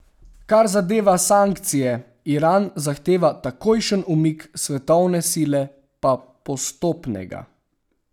Kar zadeva sankcije, Iran zahteva takojšen umik, svetovne sile pa postopnega.